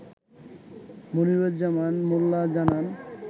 মনিরুজ্জামান মোল্লা জানান